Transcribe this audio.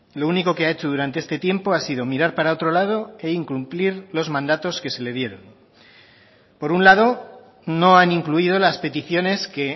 lo único que ha hecho durante este tiempo ha sido mirar para otro lado e incumplir los mandatos que se le dieron por un lado no han incluido las peticiones que